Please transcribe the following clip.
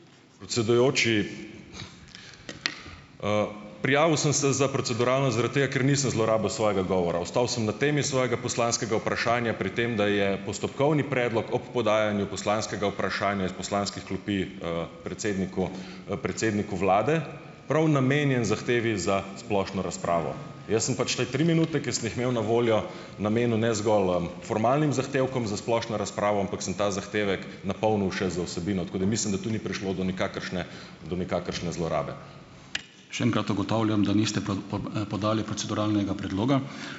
Predsedujoči, prijavil sem se za proceduralno zaradi tega, ker nisem zlorabil svojega govora. Ostal sem na temi svojega poslanskega vprašanja, pri tem, da je postopkovni predlog ob podajanju poslanskega vprašanja iz poslanskih klopi, predsedniku, predsedniku vlade prav namenjen zahtevi za splošno razpravo. Jaz sem pač te tri minute, ki sem jih imel na voljo, namenil ne zgolj, formalnim zahtevkom za splošno razpravo, ampak sem ta zahtevek napolnil še z vsebino. Tako da mislim, da tu ni prišlo do nikakršne, do nikakršne zlorabe. Še enkrat ugotavljam, da niste podali proceduralnega predloga